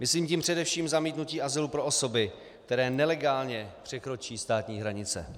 Myslím tím především zamítnutí azylu pro osoby, které nelegálně překročí státní hranice.